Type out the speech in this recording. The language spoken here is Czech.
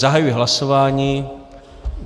Zahajuji hlasování.